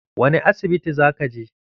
Wani asibiti za ka je?